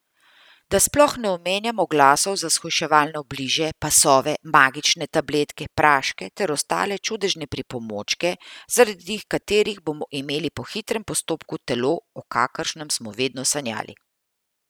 Da sploh ne omenjam oglasov za shujševalne obliže, pasove, magične tabletke, praške ter ostale čudežne pripomočke, zaradi katerih bomo imeli po hitrem postopku telo, o kakršnem smo vedno sanjali.